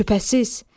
Şübhəsiz.